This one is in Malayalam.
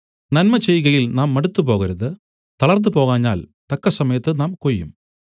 നന്മ ചെയ്കയിൽ നാം മടുത്തുപോകരുത് തളർന്നുപോകാഞ്ഞാൽ തക്കസമയത്ത് നാം കൊയ്യും